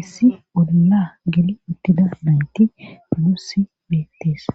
issi olla gili uttida naynti luussi beettis.